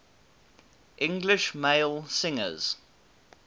english male singers